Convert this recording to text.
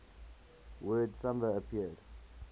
word samba appeared